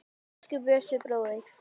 Elsku Bjössi bróðir.